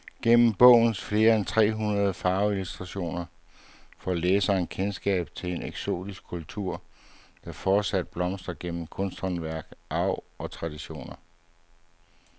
Gennem bogens flere end tre hundrede farveillustrationer får læseren kendskab til en eksotisk kultur, der fortsat blomstrer gennem kunsthåndværk, arv og traditioner.